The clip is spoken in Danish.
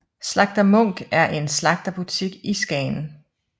Slagter Munch er en slagterbutik i Skagen